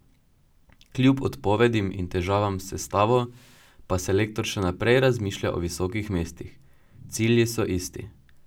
Kljub odpovedim in težavam s sestavo pa selektor še naprej razmišlja o visokih mestih: 'Cilji so isti.